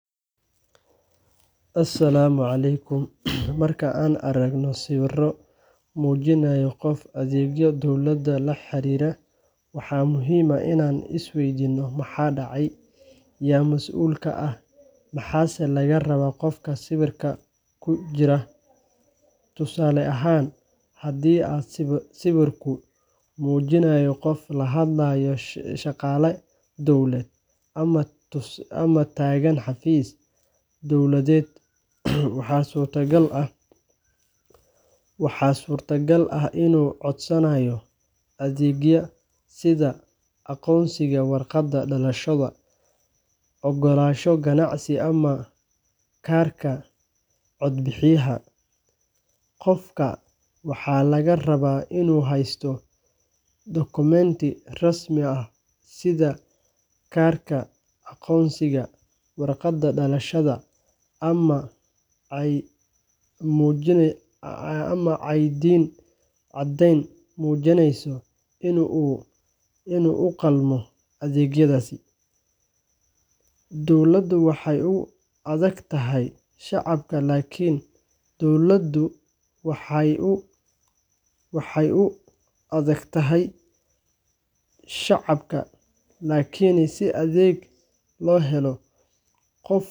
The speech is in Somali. Asalaamu calaykum Marka aan aragno sawir muujinaya qof adeegyo dowladeed la xiriira, waxaa muhiim ah inaan isweydiino: maxaa dhacaya? Yaa masuul ka ah? Maxaase laga rabaa qofka sawirka ku jira? Tusaale ahaan, haddii sawirku muujinayo qof la hadlaya shaqaale dawladeed ama taagan xafiis dowladeed, waxaa suurtagal ah inuu codsanayo adeeg sida: aqoonsi, warqad dhalasho, oggolaansho ganacsi, ama kaarka codbixiyaha. Qofka waxaa laga rabaa inuu haysto dukumenti rasmi ah sida kaarka aqoonsiga, waraaqaha dhalashada, ama caddeyn muujinaysa in uu u qalmo adeeggaas. Dowladdu waxay u adeegtaa shacabka, laakiin si adeeg loo helo, qofka waa inuu buuxiyaa shuruudo,